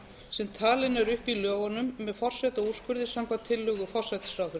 sem talin eru upp í lögunum með forsetaúrskurði samkvæmt tillögu forsætisráðherra